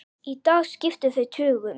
Í dag skipta þau tugum.